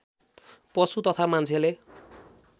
पशु तथा मान्छेले